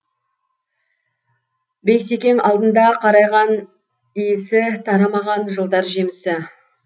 бейсекең алдында қарағай иісі тарамаған жылдар жемісі